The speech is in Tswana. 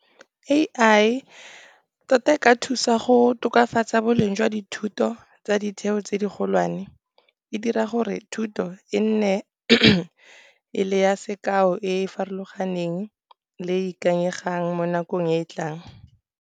A_I tota e ka thusa go tokafatsa boleng jwa dithuto tsa ditheo tse di golwane. E dira gore thuto e nne e le ya sekao e farologaneng le ikanyegang mo nakong e e tlang.